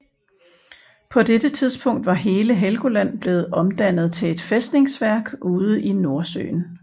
På dette tidspunkt var hele Helgoland blevet omdannet til et fæstningsværk ude i Nordsøen